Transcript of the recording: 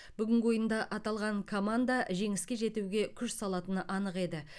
бүгінгі ойында аталған команда жеңіске жетуге күш салатыны анық еді